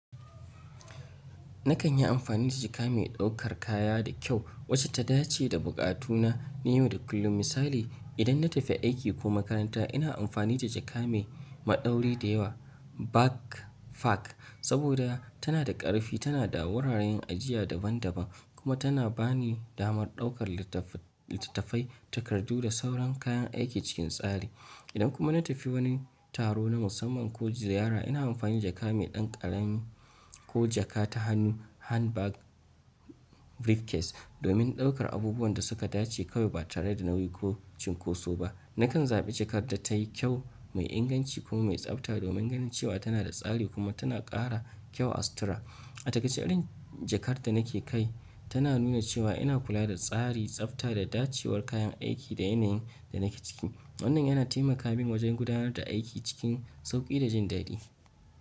Na kan yi amfani da jaka mai ɗaukar kaya da kyau wacce ta dace da buƙatu na na yau da kullum. Misali, idan na tafi aiki ko makaranta, ina amfani da jaka mai maɗauri da yawa saboda tana da ƙarfi, tana da wuraren ajiya daban-daban, kuma tana ba ni damar ɗaukar littattafai, takardu da sauran kayan aiki cikin tsari. Idan kuma na tafi wani taro na musamman ko ziyara, ina amfani da jaka mai ɗan ƙarami ko jaka ta hannu domin ɗaukar abubuwan da suka dace kawai ba tare da nauyi ko cunkoso ba. Na kan zaɓi jakar da tayi kyau, mai inganci kuma mai tsabta domin ganin cewa tana da tsari kuma tana ƙara kyau a sutura. A takaice, irin jakar da nake kai tana nuna cewa ina kula da tsari, tsabta da dacewar kayan aiki da yanayin da nake ciki. Wannan yana taimaka min wajen gudanar da aiki cikin sauƙi da jin daɗi.